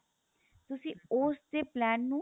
ਤੁਸੀਂ ਉਸਦੇ plan ਨੂੰ